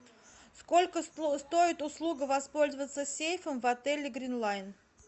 сколько стоит услуга воспользоваться сейфом в отеле грин лайн